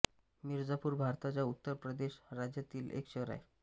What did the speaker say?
मिर्झापूर भारताच्या उत्तर प्रदेश राज्यातील एक शहर आहे